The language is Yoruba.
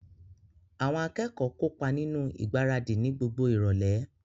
Àwọn akẹ́kọ̀ọ́ kópa nínú ìgbáradì ni gbogbo ìrọ̀lẹ́